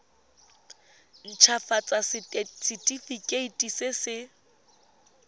nt hafatsa setefikeiti se se